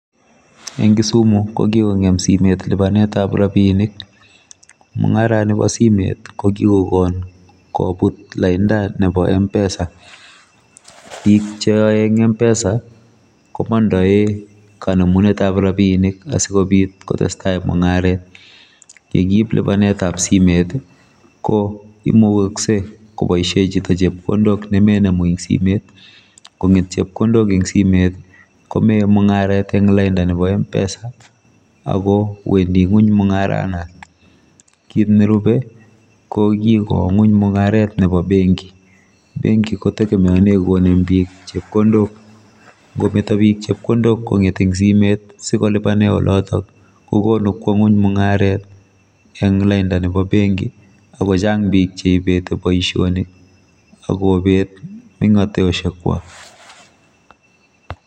Eng Kisumu ko kikongeem simeet lipanet ab rapinik mungareen nibo simoit ko kokokoon kobuur laindaa nebo mpesa biik che yae en mpesa ii ko mandae konemunet ab rapinik asikotestai mungaret kikiip lupaneet ab simeet ko imukaksei kobaisheen chitoo chepkondook ne mainemuu en simu kot menumuu en chepkondook en simoit ii ko meyae mungaret en laindaa nebo mpesa ako wendii kweeny mungaret noton kit ne rupee ko konguung mungaret ab benki ,benki kotegemeanen biik konem chepkondook ngometoi biik chepkondook konget en simeet sikolupaneen olotoon kokonuu kwaa kweny mungaret anan ko laindaa nebo bengii ako chaang biik cheinetii boisionik, agobeet mengatoshek kwaak.